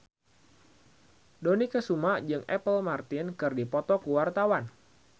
Dony Kesuma jeung Apple Martin keur dipoto ku wartawan